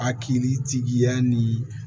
A kiri tigiya ni